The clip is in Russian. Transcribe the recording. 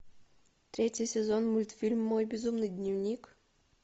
третий сезон мультфильм мой безумный дневник